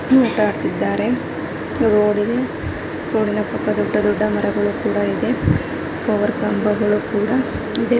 ಒಂದು ಪಾರ್ಕ್ ಇದೆ ಒಂದು ರೂಡಿ ದೆ ದೊಡ್ಡ ದೊಡ್ಡ ಮರಗಳಿದೆ ಪವರ್ ಕಂಬಗಳು ಸಹ ಇದೆ.